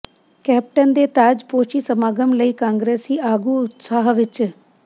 captain ਦੇ ਤਾਜਪੋਸ਼ੀ ਸਮਾਗਮ ਲਈ ਕਾਂਗਰਸੀ ਆਗੂ ਉਤਸ਼ਾਹ ਵਿੱਚ